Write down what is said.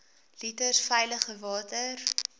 liters veilige water